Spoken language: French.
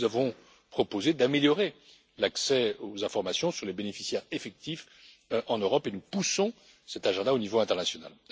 Nous avons proposé d'améliorer l'accès aux informations sur les bénéficiaires effectifs en Europe et nous poussons cette priorité au niveau international.